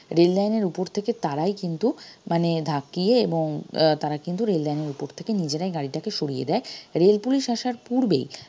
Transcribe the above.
rail line এর উপর থেকে তারাই কিন্তু মানে ধাক্কিয়ে এবং আহ তারা কিন্তু rail line এর উপর থেকে নিজেরাই গাড়িটাকে সড়িয়ে দেয় rail পুলিশ আসার পূর্বেই